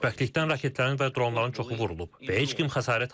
Xoşbəxtlikdən raketlərin və dronların çoxu vurulub və heç kim xəsarət almayıb.